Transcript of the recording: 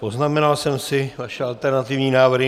Poznamenal jsem si vaše alternativní návrhy.